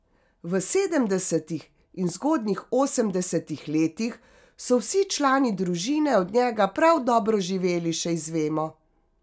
V sedemdesetih in zgodnjih osemdesetih letih so vsi člani družine od njega prav dobro živeli, še izvemo.